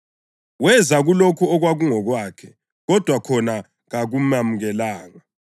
Weza kulokho okwakungokwakhe, kodwa khona kakumemukelanga.